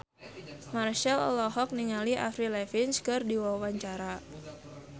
Marchell olohok ningali Avril Lavigne keur diwawancara